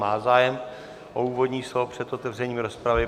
Má zájem o úvodní slovo před otevřením rozpravy.